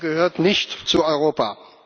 Die Türkei gehört nicht zu Europa!